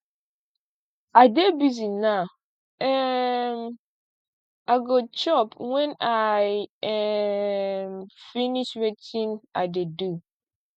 i dey busy now um i go chop wen i um finish wetin i dey do